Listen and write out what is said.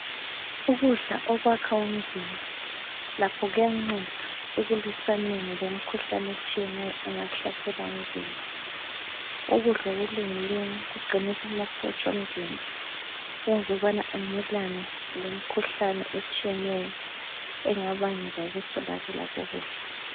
Ukudla okwakha umzimba lakho kuyanceda ekuliswaneni lemikhuhlane eshiyeneyo engahlasela umzimba. Ukudla okulungileyo kuqinisa amasotsha omzimba kwenza ukubana amelane lemikhuhlane etshiyeneyo engabangelwa yikuswelakala kokudla.